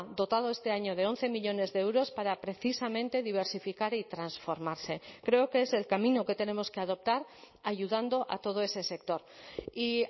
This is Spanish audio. dotado este año de once millónes de euros para precisamente diversificar y transformarse creo que es el camino que tenemos que adoptar ayudando a todo ese sector y